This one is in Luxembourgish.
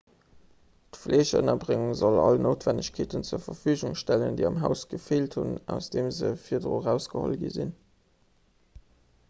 fleegënnerbréngung soll all noutwennegkeeten zur verfügung stellen déi am haus gefeelt hunn aus deem se virdrun erausgeholl gi sinn